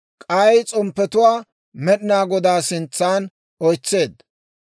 k'ay s'omppetuwaa Med'inaa Godaa sintsan oytseedda.